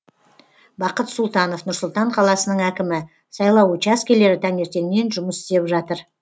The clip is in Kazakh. бақыт сұлтанов нұр сұлтан қаласының әкімі сайлау учаскелері таңертеңнен жұмыс істеп жатыр